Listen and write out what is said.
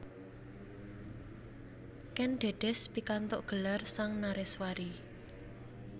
Kèn Dèdès pikantuk gelar Sang Nareswari